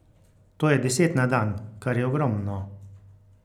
To je deset na dan, kar je ogromno.